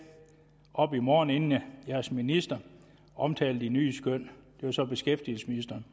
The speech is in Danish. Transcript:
op i morgen inden jeres minister omtaler de nye skøn det var så beskæftigelsesministeren